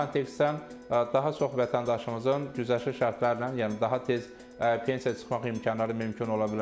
Bu kontekstdə daha çox vətəndaşımızın güzəştli şərtlərlə, yəni daha tez pensiya çıxmaq imkanları mümkün ola bilər.